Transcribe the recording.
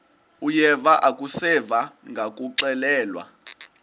uyeva akuseva ngakuxelelwa